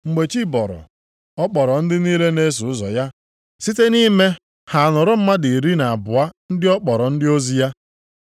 Mgbe chi bọrọ, ọ kpọrọ ndị niile na-eso ụzọ ya, site nʼime ha họrọ mmadụ iri na abụọ ndị ọ kpọrọ ndị ozi ya. + 6:13 Mgbe ọbụla ị na-achọ inwe mkpebi banyere ihe dị mkpa, wepụta oge kpee ekpere dịka Jisọs mere nʼamaokwu iri na abụọ ruo nke iri na atọ.